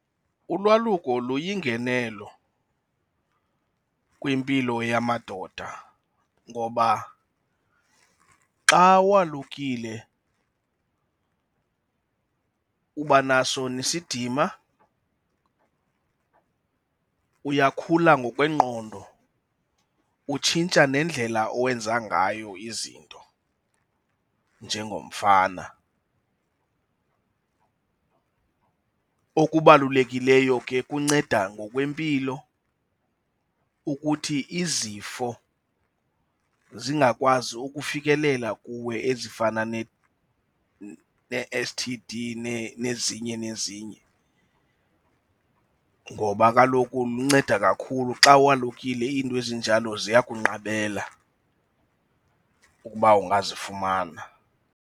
Ulwaluko luyingnelo kwimpilo yamadoda ngoba xa walukile uba naso nesidima, uyakhula ngokwengqondo, utshintsha nendlela owenza ngayo izinto njengomfana. Okubalulekileyo ke kunceda ngokwempilo ukuthi izifo zingakwazi ukufikelela kuwe ezifana nee-S_T_D nezinye, nezinye ngoba kaloku lunceda kakhulu xa walukile iinto ezinjalo ziya kunqabela ukuba ungazifumana.